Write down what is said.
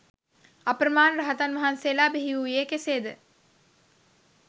අප්‍රමාණ රහතන් වහන්සේලා බිහිවූයේ කෙසේද?